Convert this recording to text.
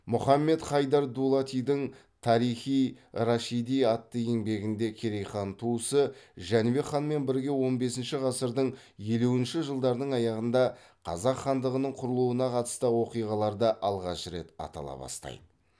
мұхаммед хайдар дулатидың тарих и рашиди атты еңбегінде керей хан туысы жәнібек ханмен бірге он бесінші ғасырдың елуінші жылдарының аяғында қазақ хандығының құрылуына қатысты оқиғаларда алғаш рет атала бастайды